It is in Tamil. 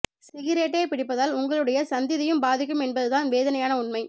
சிகிரேட்டே பிடிப்பதால் உங்களுடைய சந்திதியும் பாதிக்கும் என்பது தான் வேதனையான உண்மை